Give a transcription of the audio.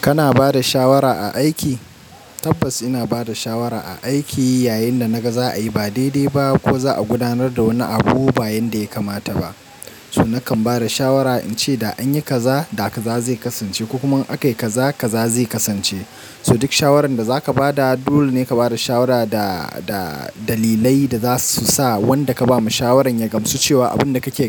Kana bada shawara a aiki? Tabbas ina bada shawara a aiki yayin da na ga za a yi ba daidai ba ko naga za a gudanar da wani abu ba yadda ya kamata ba. So nakan bada shawara in ce da an yi kaza da kaza zai kasance ko kuma an kai kaza kaza zai kasance. So duk shawarar da zaka bada dole ne ka bada shawara da da dalilai da zasu sa wanda ka ba mu shawarar ya gamsu cewa abin da kake